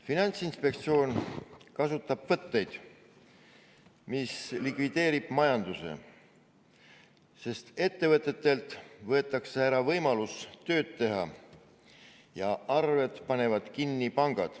Finantsinspektsioon kasutab võtteid, mis likvideerivad majanduse, sest ettevõtjatelt võetakse ära võimalus tööd teha ja pangad panevad arved kinni.